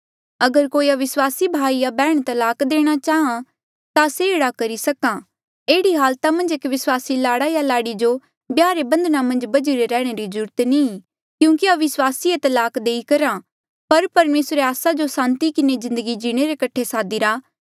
अगर कोई अविस्वासी भाई या बैहण तलाक देणा चाहां ता से एह्ड़ा करी सक्हा एह्ड़ी हालता मन्झ एक विस्वासी लाड़ा या लाड़ी जो ब्याह रे बंधना मन्झ बझिरे रैहणे री जरूरत नी ई क्यूंकि अविस्वासी ये तलाक देई करहा पर परमेसरे आस्सा जो सांति किन्हें जिन्दगी जीणे रे कठे सादिरा